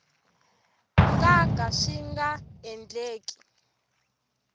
nga ka swi nga endleki